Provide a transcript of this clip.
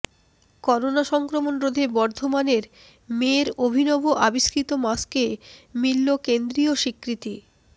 corona সংক্রমণ রোধে বর্ধমানের মেয়ের অভিনব আবিষ্কৃত মাস্কে মিলল কেন্দ্রীয় স্বীকৃতি